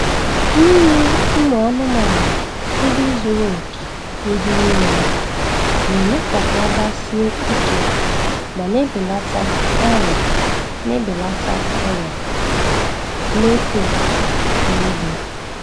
Inye ụmụ anụmanụ nri zuru oke n'ihe niile, na-eme ka ha gbasie ike ma na-ebelata ọrịa na-ebelata ọrịa na-efe efe n' ugbo.